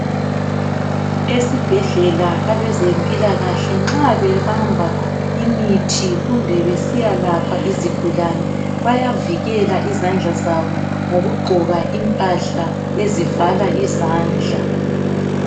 esibhedlela abezempilakahle nxa bebamba imithi kumbe besiyalapha izigulane bayavikela izandla zabo ngokugqoka imphahla ezivala izandla